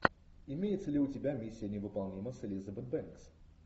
имеется ли у тебя миссия невыполнима с элизабет бэнкс